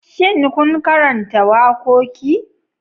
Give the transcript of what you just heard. Shin kun karanta wakoki?